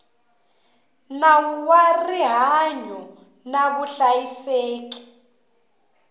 nawu wa rihanyo na vuhlayiseki